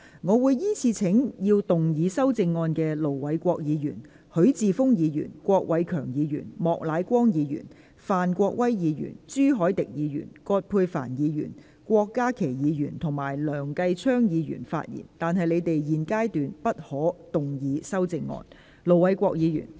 我會依次請要動議修正案的盧偉國議員、許智峯議員、郭偉强議員、莫乃光議員、范國威議員、朱凱廸議員、葛珮帆議員、郭家麒議員及梁繼昌議員發言，但他們在現階段不可動議修正案。